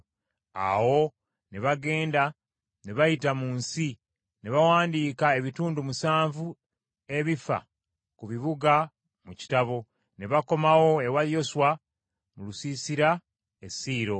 Awo ne bagenda ne bayita mu nsi, ne bawandiika ebitundu musanvu ebifa ku bibuga mu kitabo, ne bakomawo ewa Yoswa mu lusiisira e Siiro.